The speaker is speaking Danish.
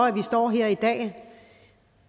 at vi står her i dag